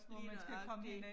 Lige nøjagtig